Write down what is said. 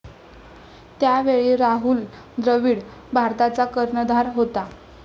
त्यावेळी राहुल द्रविड भारताचा कर्णधार होता.